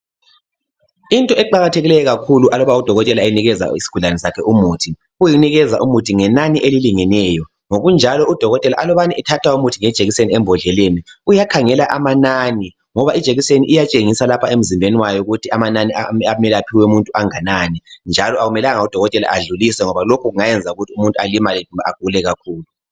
Into eqakathekileyo kakhulu aluba udokotela enikeza isigulani sakhe umuthi. Kuyikunikeza umuthi ngenani elilingeneyo ngokunjalo udokotela alubani ethatha umuthi ngejekiseni embodleleni uyakhangela amanani, ngoba ijekiseni iyatshengisa lapha emzimbeni wayo ukuthi amanani amele aphiwe umuntu anganani njalo akumelanga udokotela adlulise ngoba lokhu kungenza umuntu alimale kumbe agule kakhulu.